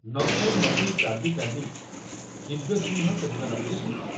ନ ଖାଇ ନ ପିଇ କାନ୍ଦି କାନ୍ଦି ଦିବ୍ୟସିଂହ ସେ ଦିନ ରାତିରେ ଶୋଇଗଲା।